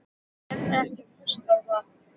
Ég nenni ekki að hlusta á það.